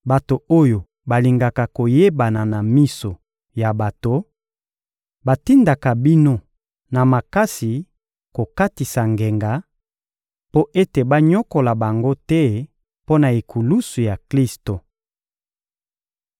Bato oyo balingaka koyebana na miso ya bato batindaka bino na makasi kokatisa ngenga, mpo ete banyokola bango te mpo na ekulusu ya Klisto.